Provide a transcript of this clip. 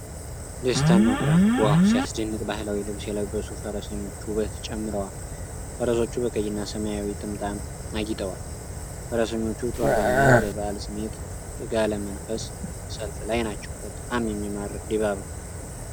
ደስታና ኩራት! ዋው ሲያስደንቅ! ባህላዊ ልብስ የለበሱ ፈረሰኞች ውበት ጨምረዋል። ፈረሶች በቀይና ሰማያዊ ጥምጣም አጊጠዋል። ፈረሰኞቹ ጦር በመያዝ በበዓል ስሜት በጋለ መንፈስ ሰልፍ ላይ ናቸው። በጣም የሚማርክ ድባብ ነው።!!